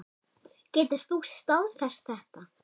Getur þú staðfest þetta?